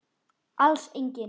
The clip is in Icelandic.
Alls engin.